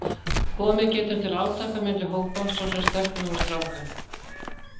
Komið getur til átaka milli hópa, svo sem stelpna og stráka.